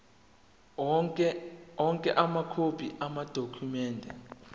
onke amakhophi amadokhumende